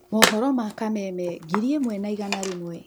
Mohoro ma Kameme ngiri ĩmwe na igana rĩmwe.